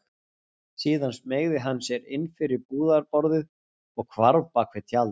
Síðan smeygði hann sér inn fyrir búðarborðið og hvarf bak við tjald.